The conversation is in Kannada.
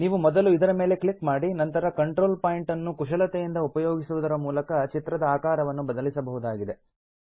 ನೀವು ಮೊದಲು ಇದರ ಮೇಲೆ ಕ್ಲಿಕ್ ಮಾಡಿ ಮತ್ತು ಕಂಟ್ರೋಲ್ ಪಾಯಿಂಟ್ ಅನ್ನು ಕುಶಲತೆಯಿದ ಉಪಯೋಗಿಸುವುದರ ಮೂಲಕ ಚಿತ್ರದ ಆಕಾರವನ್ನು ಬದಲಿಸಬಹುದಾಗಿದೆ